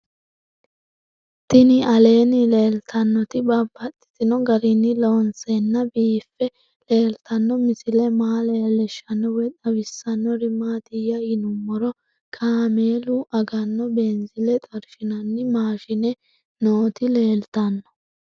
Tinni aleenni leelittannotti babaxxittinno garinni loonseenna biiffe leelittanno misile maa leelishshanno woy xawisannori maattiya yinummoro kaammelu aganno beenzile xorishinnanni maashshinne nootti leelittanno